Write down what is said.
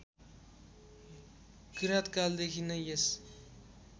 किराँतकालदेखि नै यस